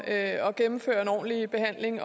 at gennemføre en ordentlig behandling